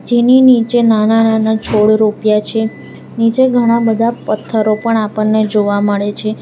એની નીચે નાના નાના છોડ રરોપ્યા છે નીચે ઘણા બધા પથ્થરો પણ આપણને જોવા મળે છે.